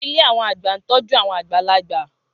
Ilé àwọn àgbà ń tọ́jú àwọn àgbàlagbà